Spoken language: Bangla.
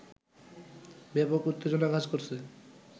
ব্যাপক উত্তেজনা কাজ করছে